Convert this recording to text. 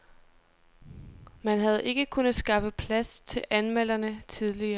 Man havde ikke kunnet skaffe plads til anmelderne tidligere.